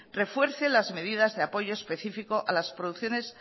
refuerce las medidas de apoyo específico a las producciones